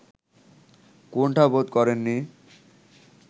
কুন্ঠাবোধ করেননি